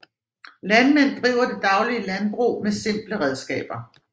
Landmænd driver den daglige landbrug med simple redskaber